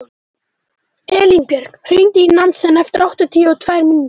Elínbjörg, hringdu í Nansen eftir áttatíu og tvær mínútur.